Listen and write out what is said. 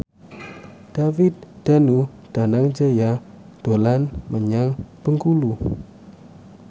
David Danu Danangjaya dolan menyang Bengkulu